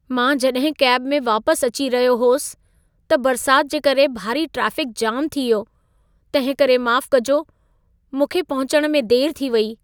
मां जॾहिं कैब में वापसि अची रहियो हुअसि, त बरसात जे करे भारी ट्राफिक जाम थी वियो। तंहिंकरे माफ़ कजो, मूंखे पहुचण में देर थी वई।